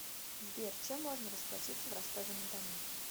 сбер чем можно расплатиться в ростове на дону